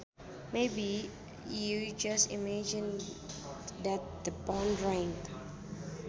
Maybe you just imagined that the phone rang